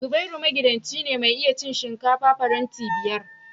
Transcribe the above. Zubairu magidanci ce ta iya cin shinkafa faranti biyar